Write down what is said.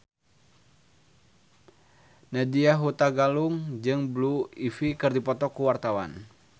Nadya Hutagalung jeung Blue Ivy keur dipoto ku wartawan